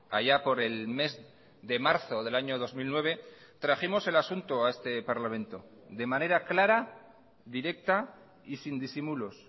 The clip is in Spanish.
allá por el mes de marzo del año dos mil nueve trajimos el asunto a este parlamento de manera clara directa y sin disimulos